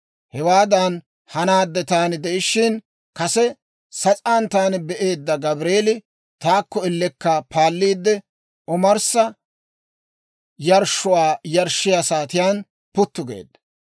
Hewaadan hanaadde taani de'ishiina, kase sas'aan taani be'eedda Gabreeli, taakko ellekka paalliidde, omarssa yarshshuwaa yarshshiyaa saatiyaan puttu geedda.